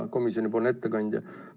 Hea komisjoni ettekandja!